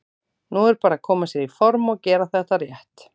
Nú er bara að koma sér í form og gera þetta rétt.